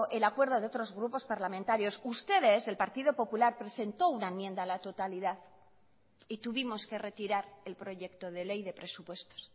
el acuerdo de otros grupos parlamentarios ustedes el partido popular presentó una enmienda a la totalidad y tuvimos que retirar el proyecto de ley de presupuestos